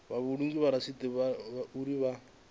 vha vhulunge rasithi uri vha